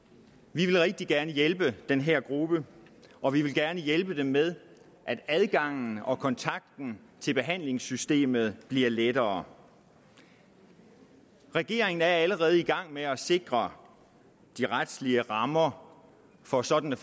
vi vil rigtig gerne hjælpe den her gruppe og vi vil gerne hjælpe den med at adgangen og kontakten til behandlingssystemet bliver lettere regeringen er allerede i gang med at sikre de retlige rammer for sådanne